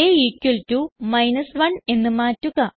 day equal to 1 എന്ന് മാറ്റുക